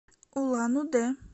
улан удэ